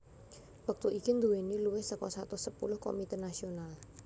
wektu iki nduwèni luwih saka satus sepuluh Komité Nasional